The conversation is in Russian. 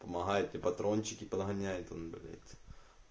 помогает ли патрончик и погоняют он блять